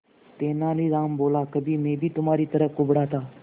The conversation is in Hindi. तेनालीराम बोला कभी मैं भी तुम्हारी तरह कुबड़ा था